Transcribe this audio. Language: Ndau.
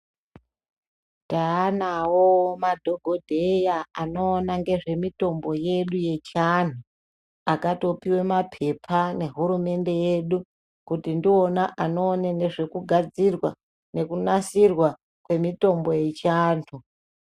Taanawo madhokodheya anoona ngezvemitombo yedu yechianhu, akatopiwa mapepa nehurumende yedu, kuti ndiwona anoona nezvekugadzirwa nekunasirwa kwemitombo yechiantu.